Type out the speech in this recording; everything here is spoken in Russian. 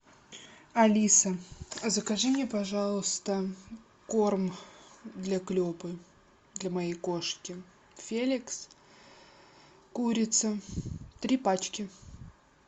алиса закажи мне пожалуйста корм для клепы для моей кошки феликс курица три пачки